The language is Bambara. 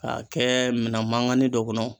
K'a kɛ minan maŋani dɔ kɔnɔ